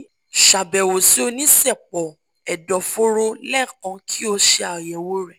ṣabẹwo si onisẹpọ ẹdọforo lẹẹkan ki o ṣe ayẹwo rẹ